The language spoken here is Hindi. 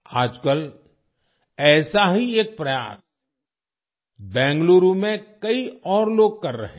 आजकल ऐसा ही एक प्रयास बेंगलुरू में कई और लोग कर रहे हैं